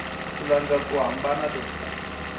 ku landza ku hambana loku